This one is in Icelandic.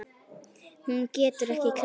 Hún getur ekki klárað.